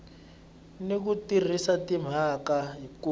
ni ku tirhisa timhaka ku